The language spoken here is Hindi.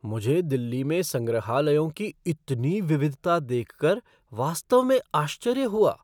मुझे दिल्ली में संग्रहालयों की इतनी विविधता देख कर वास्तव में आश्चर्य हुआ।